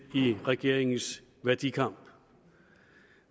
i regeringens værdikamp